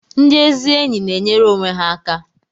Ndị ezi enyi na-enyere onwe ha aka